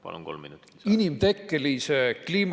Palun, kolm minutit!